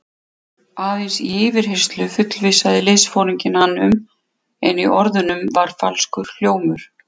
Aðeins til yfirheyrslu fullvissaði liðsforinginn hann um, en í orðunum var falskur hljómur.